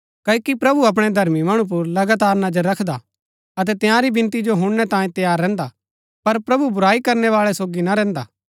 क्ओकि प्रभु अपणै धर्मी मणु पुर लगातार नजर रखदा हा अतै तंयारी विनती जो हुणनै तांये तैयार रैहन्दा हा पर प्रभु बुराई करनै बाळै सोगी ना रैहन्दा